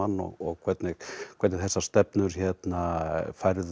og hvernig hvernig þessar stefnur færðu